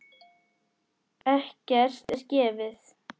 Ekkert er gefið.